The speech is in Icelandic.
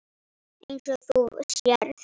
Eins og þú sérð.